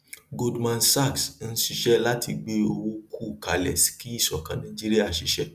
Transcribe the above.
goldman sachs ń ṣiṣẹ láti gbé owó kù kalẹ kí ìṣọkan nàìjíríà ṣiṣẹ